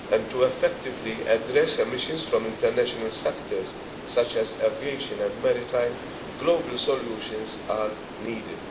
In order to effectively address emissions from international sectors, such as aviation and maritime, global solutions are needed.